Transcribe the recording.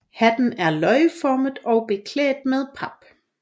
Hatten er løgformet og beklædt med pap